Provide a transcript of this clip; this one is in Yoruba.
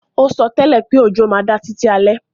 O sótẹ́lẹ̀ pé òjò má da títí alẹ́